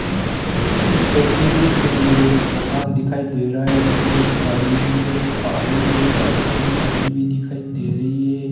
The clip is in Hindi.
इस तस्वीर में मुझे एक मकान दिखाई दे रहा है जिसमें एक गाड़ी भी नजर आ रही है पास में गाड़ी भी दिखाई दे रही है।